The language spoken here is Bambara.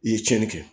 I ye tiɲɛni kɛ